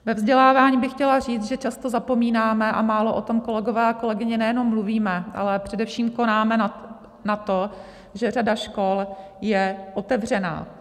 Ve vzdělávání bych chtěla říct, že často zapomínáme a málo o tom, kolegové a kolegyně, nejenom mluvíme, ale především konáme na to, že řada škol je otevřena.